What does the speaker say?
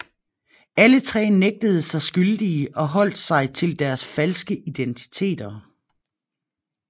Alle tre nægtede sig skyldige og holdt sig til deres falske identiteter